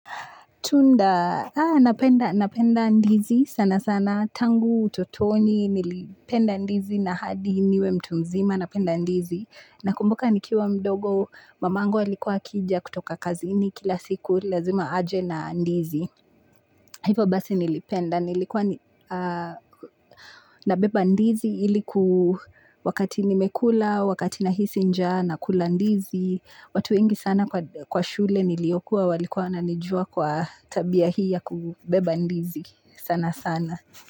Tunda, napenda ndizi sana sana. Tangu utotoni, nilipenda ndizi na hadi niwe mtu mzima, napenda ndizi. Nakumbuka nikiwa mdogo, mamangu alikua akija kutoka kazini kila siku, lazima aje na ndizi. Hivyo basi nilipenda, nilikuwa nabeba ndizi ili ku wakati nimekula, wakati nahisi njaa, nakula ndizi. Watu wengi sana kwa shule niliyokuwa walikuwa wananijua kwa tabia hii ya kubeba ndizi sana sana.